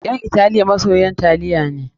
Ƴan Italiya masoyan taliya ne.